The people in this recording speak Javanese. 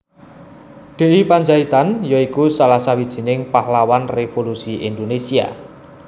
D I Pandjaitan ya iku salah sawijining pahlawan revolusi Indonésia